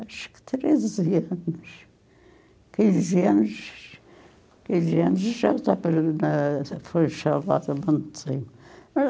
Acho que treze anos, quinze anos, quinze anos já já foi a muito tempo.